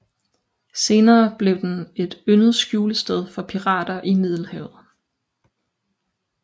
Senere blev den et yndet skjulested for pirater i Middelhavet